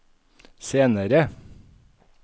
senere